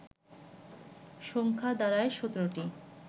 সংখ্যা দাঁড়ায় ১৭টি